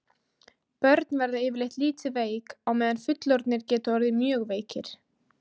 börn verða yfirleitt lítið veik á meðan fullorðnir geta orðið mjög veikir